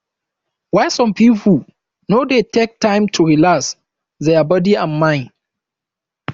why some pipo no dey take time to relax their bodi and mind